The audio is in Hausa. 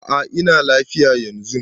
A'a ina lafiya yanzun.